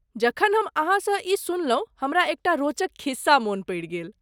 जखन हम अहाँसँ ई सुनलहुँ हमरा एकटा रोचक खिस्सा मन पड़ि गेल।